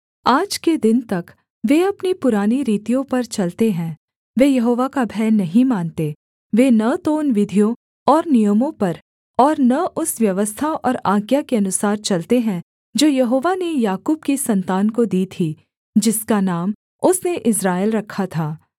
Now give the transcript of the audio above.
आज के दिन तक वे अपनी पुरानी रीतियों पर चलते हैं वे यहोवा का भय नहीं मानते वे न तो उन विधियों और नियमों पर और न उस व्यवस्था और आज्ञा के अनुसार चलते हैं जो यहोवा ने याकूब की सन्तान को दी थी जिसका नाम उसने इस्राएल रखा था